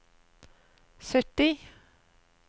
sytti